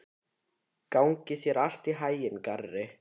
Gangi þér allt í haginn, Garri.